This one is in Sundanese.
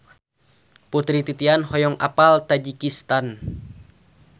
Putri Titian hoyong apal Tajikistan